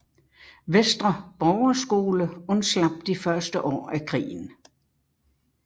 Vestre Borgerskole undslap de første år af krigen